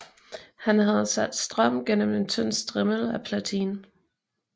Han havde sat strøm gennem en tynd strimmel af platin